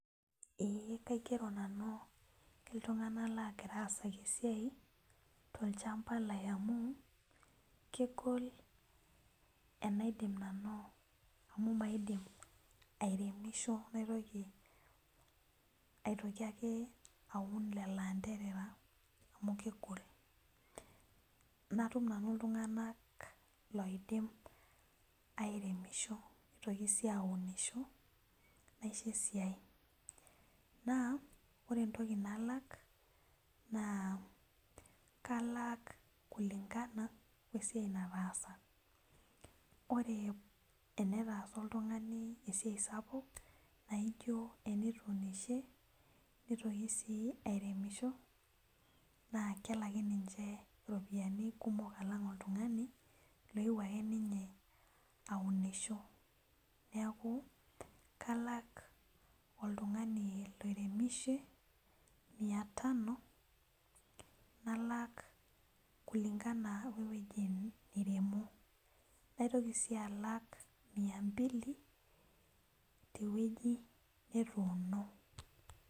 Ee kaigero nanu ltunganak logira aasaki esiai tolchamba lai amu kegol enaidim nanu amu maidim ateremisho naitoki ake aun lolo anderera amu kegol natum nanu ltunganak loidim aremisho nitoki si aunisho naisho esiai na ore entoki nalak na kalak kulingana wesiai nataasa ore tenetaasa oltungani esiai sapuk na ijo tenetuunishe nitoki si airemisho na kelaki ninche ropiyiani kumok alang oltungani lakewuo ake ninye aunisho neaku kalak oltungani oiremishe miata tano nalak kulingana we woi nairemo naitoki si alak miambili tewoi netuuno.